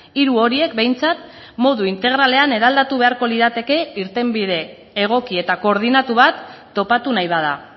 hiru horiek behintzat modu integralean eraldatu beharko lirateke irtenbide egoki eta koordinatu bat topatu nahi bada